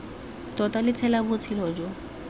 tota lo tshela botshelo jo